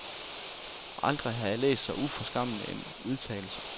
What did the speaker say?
Aldrig har jeg læst så uforskammet en udtalelse.